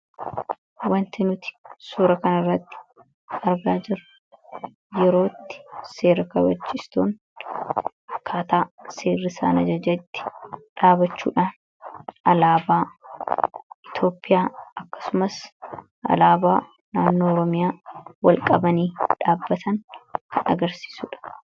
Wanti nuti suura kana irratti argaa jirru yeroo itti seera kabachiiftonni akkaataa seerri isaan ajajetti dhaabachuudhaan alaabaa Itoophiyaa fi alaabaa naannoo Oromiyaa ol qabanii dhaabbatan kan nutti agarsiisudha.